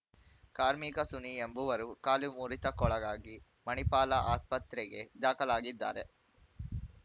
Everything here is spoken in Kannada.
ಕಾರ್ಮಿಕ ಸುನಿ ಎಂಬುವರು ಕಾಲು ಮುರಿತಕ್ಕೊಳಗಾಗಿ ಮಣಿಪಾಲ ಆಸ್ಪತ್ರೆಗೆ ದಾಖಲಾಗಿದ್ದಾರೆ